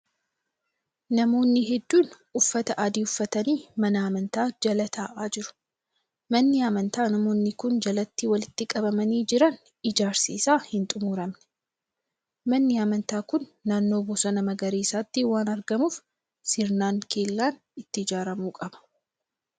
Namoonni hedduun uffata adii uffatanii mana amantaa jala ta'aa jiru. Manni amantaa namoonni kun jalatti walitti qabamanii jiran ijaarsi isaa hin xumuramne. Manni amantaa kun naannoo bosona magariisaatti waan argamuuf sirnaan kellaan itti ijaaramuu qaba.